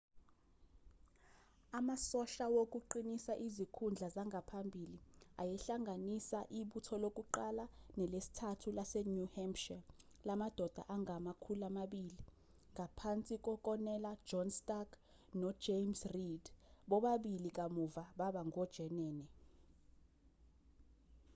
amasosha wokuqinisa izikhundla zangaphambili ayehlanganisa ibutho lokuqala nelesithathu lase-new hampshire lamadoda angama-200 ngaphansi kokonela john stark no-james reed bobabili kamuva baba ngojenene